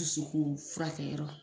Dususu ko furakɛkɛ yɔrɔ